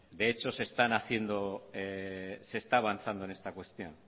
de hecho se está avanzado en esta cuestión